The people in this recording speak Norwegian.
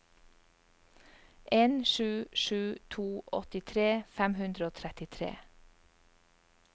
en sju sju to åttitre fem hundre og trettitre